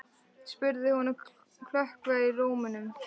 spurði hún með klökkva í rómnum.